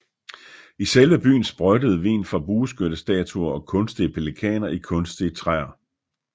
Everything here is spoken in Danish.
I selve byen sprøjtede vin fra bueskyttestatuer og kunstige pelikaner i kunstige træer